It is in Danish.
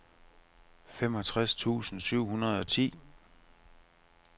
femogtres tusind syv hundrede og ti